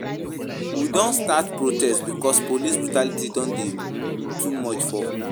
We don start protest because police brutality don dey um too much for um dis country.